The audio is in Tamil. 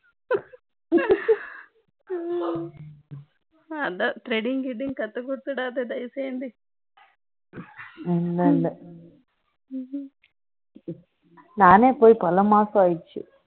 அதான் threading greeding கத்து கொடுத்துவிடாதே அவளுக்கு இல்லை நானே போய் பல மாசம் ஆச்சு